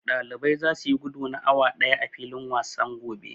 Ɗaliban zasu yi gudu na awa ɗaya a filin wasan gobe.